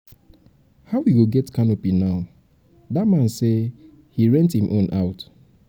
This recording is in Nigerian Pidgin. how we go get canopy now? dat man say he rent im own out um.